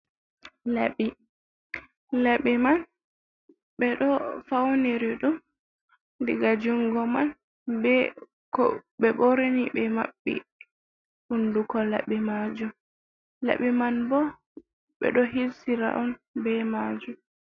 Laɓɓi laɓɓi man ɓe ɗo fauniri ɗum iga jungo man ɓe ko ɓe ɓorni ɓe maɓɓi hunduko laɓɓi majum, Laɓɓi man bo ɓe ɗo hirsira on be majum.